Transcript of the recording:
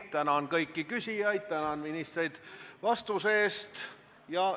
Tänan kõiki küsijaid ja tänan ministreid vastuste eest!